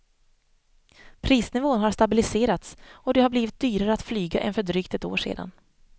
Prisnivån har stabiliserats och det har blivit dyrare att flyga än för drygt ett år sedan.